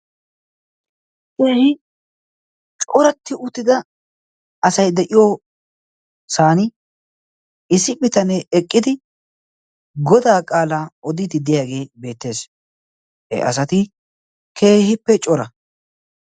kehi coratti uttida asai de7iyoosan issi bitanee eqqidi godaa qaalaa odiididdeyaagee beettees he asati keehippe cora